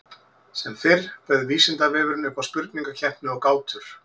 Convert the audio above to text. Sem fyrr bauð Vísindavefurinn upp á spurningakeppni og gátur.